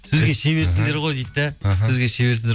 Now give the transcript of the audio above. сөзге шеберсіңдер ғой дейді де іхі сөзге шеберсіңдер